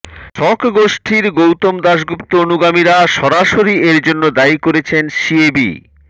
শাসক গোষ্ঠির গৌতম দাশগুপ্ত অনুগামীরা সরাসরি এর জন্য দায়ী করেছেন সিএবি